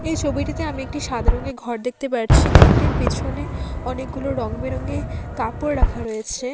এই ছবিটিতে আমি একটি সাদা রংয়ের ঘর দেখতে পারছি ঘরটির পিছনে অনেকগুলো রঙ-বেরঙের কাপড় রাখা রয়েছে।